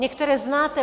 Některé znáte.